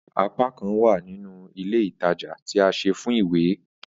Apakan wa nínú ilé ìtajà ti a se fún ìwé